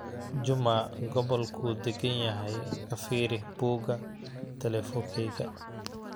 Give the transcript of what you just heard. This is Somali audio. juma gobolku daganyahay ka firi buuga telefonahayga